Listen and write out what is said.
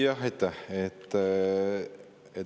Jah, aitäh!